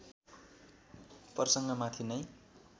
प्रसङ्ग माथि नै